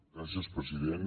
gràcies president